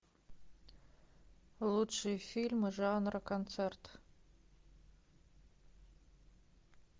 лучшие фильмы жанра концерт